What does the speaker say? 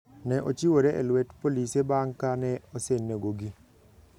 Ne ochiwore e lwet polise bang' ka ne osenegogi.